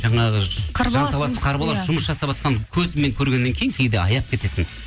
жаңағы қарбалас жұмыс жасаватқан көзіңмен көргеннен кейін кейде аяп кетесің